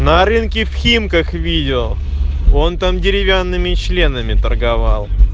на рынке в химках видео он там деревянными членами торговал